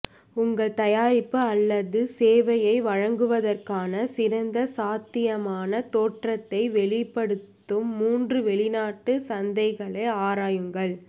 உங்கள் தயாரிப்பு அல்லது சேவையை வழங்குவதற்கான சிறந்த சாத்தியமான தோற்றத்தை வெளிப்படுத்தும் மூன்று வெளிநாட்டு சந்தைகளை ஆராயுங்கள்